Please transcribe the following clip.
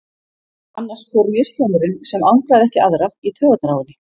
Annars fór mishljómurinn, sem angraði ekki aðra, í taugarnar á henni.